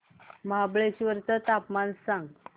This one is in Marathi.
महाबळेश्वर चं तापमान सांग